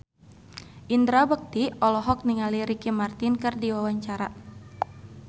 Indra Bekti olohok ningali Ricky Martin keur diwawancara